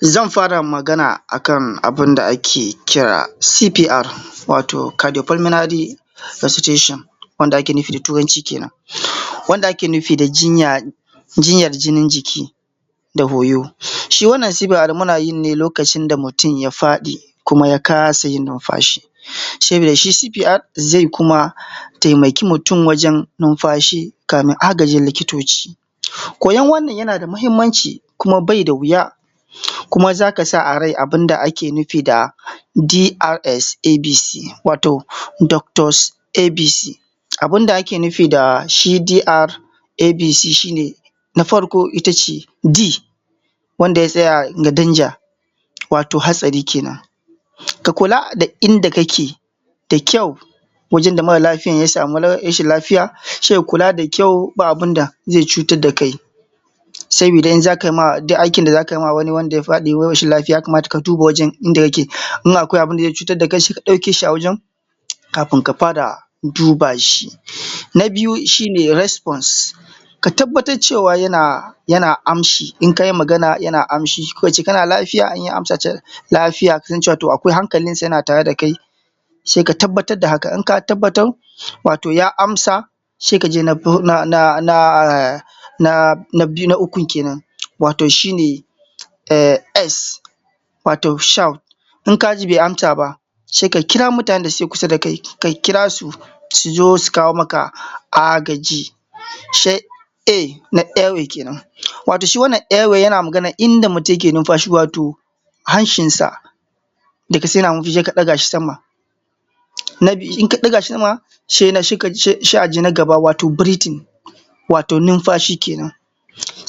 Zan fara magana akan abun da ake kira cpr wato kadofelminari susteshon wanda ake nufi da turanci kenan wanda ake nufi da jinyar jiki waton jiki da koyo shi wannan cpr muna yi ne lokacin da mutum ya faɗi kuma ya kasa yin numfashi, sabida shi cpr zai kuma taimake mutum wajen numfashi kafin neman agajin likitoci. Koyan wannan yana da mahimmanci kuma bai da wuya kuma za ka sa a riƙa abun da ake nufi da drs, abc wato doctos abc abun da ake nufi da shi dr abc shi ne na farko ita ce, d wanda ya tsaya da danja wato hatsari kenan ka kula da inda kake da kyau wajen da mara lafiyan ya samu rashin lafiya sai kula da kyau ba abun da zai cutar da kai sai idan kai ma duk aikin da za ka ma wani wanda ya faɗi wani rashi lafiya. Ya kamata ka duba wajan inda yake in akwai abun da zai cutar da kai sai ka ɗauke shi a wajan kafin ka fara duba shi, na biyu shi ne resfons ka tabbatar cewa yana amshi in ka yi Magana, ya na amshi ko in ce kana lafiya in ya amsa lafiya sai in ce wato akwai hankalinsa yana tare da kai sai ka tabbatar da haka in ka tabbatar wato ya amsa sai ka je na biyu. Na ukun kenan wato shi ne, s wato, shout in ka ji bai amsa ba sai ka kira mutanen da ke kusa da kai ka kira su, su zo su kawo maka agaji sai a na away kenan wato shi wannan away ɗin yana maganan in da mutum yake numfashi wato hancinsa da ka san yana numfashi sai ka ɗaga shi sama. Na biyu in aka ɗaga shi sama sai aje nagaba wato breathing wato numfashi kenan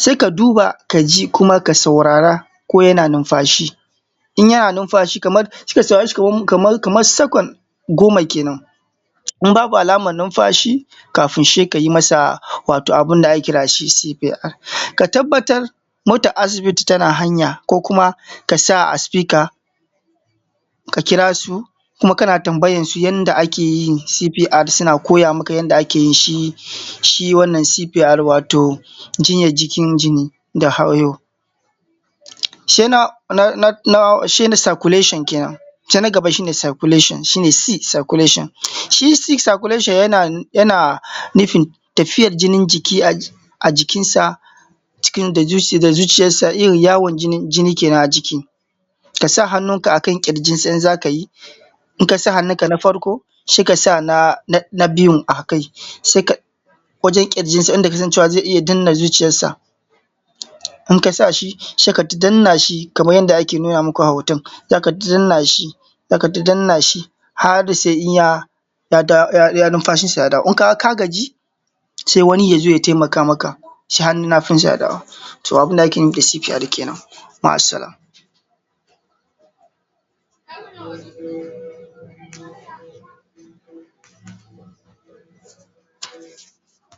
sai ka duba ka ji kuma ka saurara ko yana numfashi, in yana numfashi kamar sai ka saurare shi kaman sakan goma kenan in babu alaman numfashi kafun sai ka yi masa watan abun da ake kira cpr, ka tabbatar motan asibitin tana hanya ko kuma ka sa a sifika ka kira su kuma kana tambayansu yanda ake yin cpr, suna koya maka yanda ake yin shi, shi wannan cpr ɗin wato jinyan jikin jini da hayo, sai na circulation kenan sai na gaba circulation shi ne c, circulation si, c circulation yana nufin tafiyar jinin jiki a jikinsa da zuciyansa in yawo jini kenan a jiki kasa hannunka akan ƙirjinsa in za ka yi in ka sa hannunka, na farko sai akasa, na biyun akai wajen ƙirjinsa inda ka san cewa zai iya danna zuciyarsa in ka sa shi sai kai ta danna shi kaman yanda ake nuna maka a hotan za kai ta danna shi za kaita danna shi har sai ka ga numfashin sa ya dawo, in ka ga ka gaji sai wani ya zo ya taimaka maka ya sa hannun hagun shi akan dama, to abun da ake nufi da cpr kenan, ma’asallam.